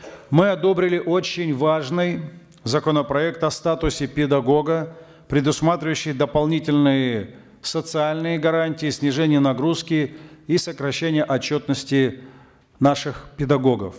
мы одобрили очень важный законопроект о статусе педагога предусматривающий дополнительные социальные гарантии снижение нагрузки и сокращение отчетности наших педагогов